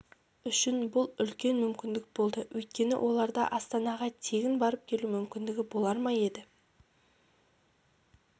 үшін бұл үлкен мүмкіндік болды өйткені оларда астанаға тегін барып келу мүмкіндігі болар ма еді